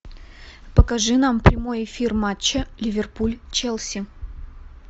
покажи нам прямой эфир матча ливерпуль челси